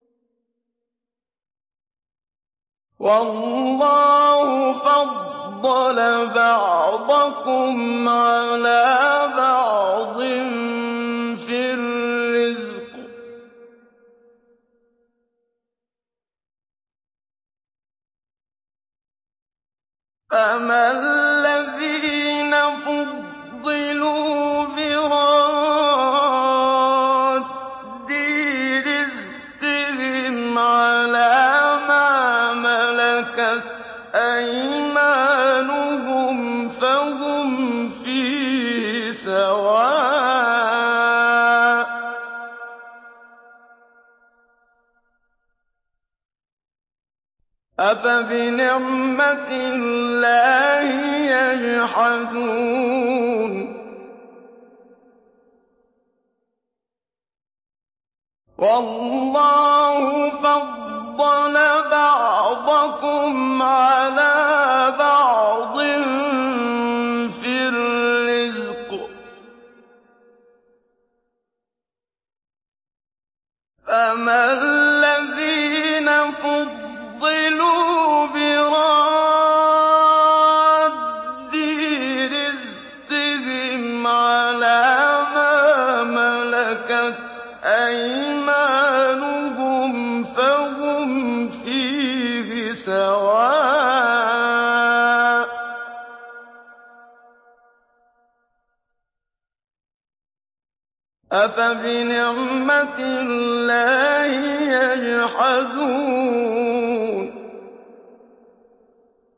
وَاللَّهُ فَضَّلَ بَعْضَكُمْ عَلَىٰ بَعْضٍ فِي الرِّزْقِ ۚ فَمَا الَّذِينَ فُضِّلُوا بِرَادِّي رِزْقِهِمْ عَلَىٰ مَا مَلَكَتْ أَيْمَانُهُمْ فَهُمْ فِيهِ سَوَاءٌ ۚ أَفَبِنِعْمَةِ اللَّهِ يَجْحَدُونَ